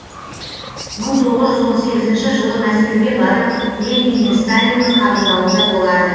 мың тоғыз жүз он сегізінші жылы мәскеуге барып ленин мен сталиннің қабылдауында болады